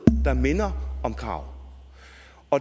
der minder om krav